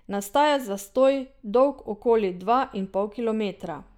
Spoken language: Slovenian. Nastaja zastoj dolg okoli dva in pol kilometra.